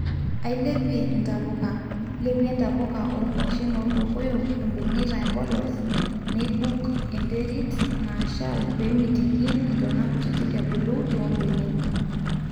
ailepie ntapuka, lepie ntapuka o kwashen olkokoyok ibungita emplos neibuk enterit nashal peemitiki ntona kutitik ebulu too benek